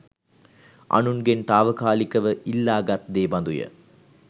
අනුන්ගෙන් තාවකාලිකව ඉල්ලාගත් දේ බඳු ය.